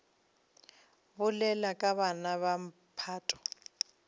bolela ka bana ba mphato